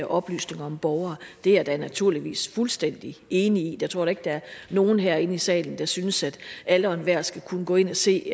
oplysninger om borgere det er jeg naturligvis fuldstændig enig i jeg tror da ikke der er nogen herinde i salen der synes at alle og enhver skal kunne gå ind og se